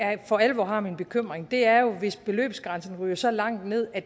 for alvor har min bekymring er jo hvis beløbsgrænsen ryger så langt ned at